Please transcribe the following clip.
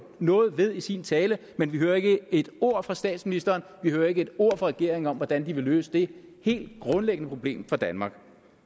noget ved i sin tale men vi hører ikke et ord fra statsministeren vi hører ikke et ord fra regeringen om hvordan de vil løse det helt grundlæggende problem for danmark